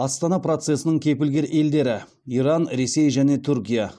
астана процесінің кепілгер елдері иран ресей және түркия